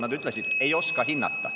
Nad ütlesid: ei oska hinnata.